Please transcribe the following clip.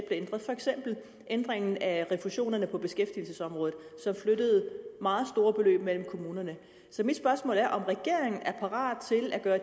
ændret for eksempel ændringen af refusionerne på beskæftigelsesområdet som flyttede meget store beløb mellem kommunerne så mit spørgsmål er om regeringen er parat til at gøre